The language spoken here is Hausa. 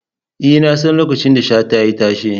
E, nasan lokacin da Shata ya yi tashe.